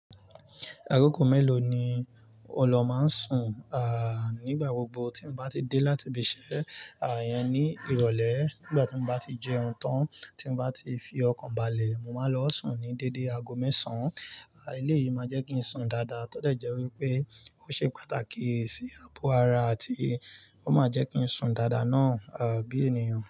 Akoko mélòó ni ọ lọ máa ń sùn? À, nígbà gbogbo tí n bá ti dé láti ibi iṣẹ́, à, iyẹn ní ìrọ̀lẹ́ ngbà tí mo bá ti jẹun tán tí n bá ti fi ọkàn balẹ̀, mo máa n lọ sùn ní dédé ago mẹ́sàn án. À, eléyìí máa jẹ́ kí n sùn dáadáa. Tódẹ̀ jẹ́ wípé ó ṣe pàtàkì sí àpò ara àti ó máa jẹ́ kí n sùn dáadáa náà, à, bí ènìyàn.